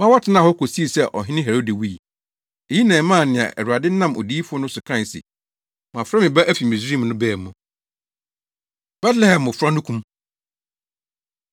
ma wɔtenaa hɔ kosii sɛ Ɔhene Herode wui. Eyi na ɛmaa nea Awurade nam odiyifo no so kae se, “Mafrɛ me Ba afi Misraim” no baa mu. Betlehem Mmofra No Kum